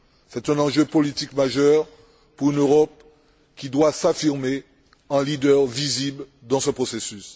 C'est un enjeu politique majeur pour une Europe qui doit s'affirmer en leader visible dans ce processus.